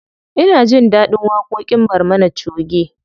Ina jin ɗaɗin waƙoƙin barmana choge.